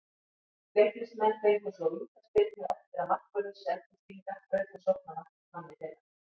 Leiknismenn fengu svo vítaspyrnu eftir að markvörður Selfyssinga braut á sóknarmanni þeirra.